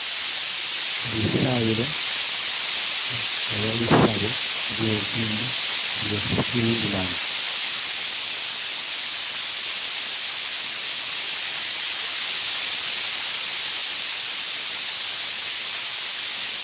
Ilitsayilo oba lisaabo lyeddini yehizilam